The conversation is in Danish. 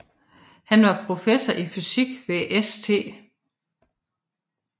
Han var professor i fysik ved St